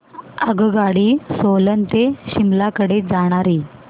आगगाडी सोलन ते शिमला कडे जाणारी